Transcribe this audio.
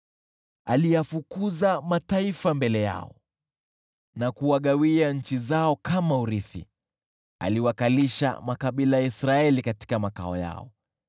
Aliyafukuza mataifa mbele yao, na kuwagawia nchi zao kama urithi, aliwakalisha makabila ya Israeli katika makao yao.